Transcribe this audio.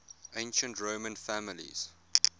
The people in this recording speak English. ancient roman families